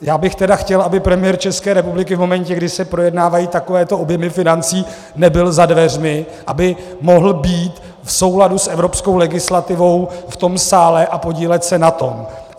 Já bych tedy chtěl, aby premiér České republiky v momentě, kdy se projednávají takovéto objemy financí, nebyl za dveřmi, aby mohl být v souladu s evropskou legislativou v tom sále a podílet se na tom.